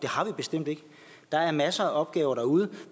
har vi bestemt ikke der er masser af opgaver derude